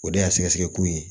O de y'a sɛgɛsɛgɛ ko ye